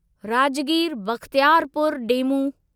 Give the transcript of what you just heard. Rajgir Bakhtiyarpur DEMU